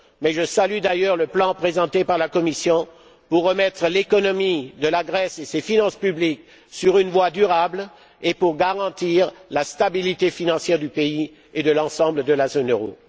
Je salue d'ailleurs le plan présenté par la Commission pour remettre l'économie de la Grèce et ses finances publiques sur une voie durable et pour garantir la stabilité financière du pays et de l'ensemble de la zone euro.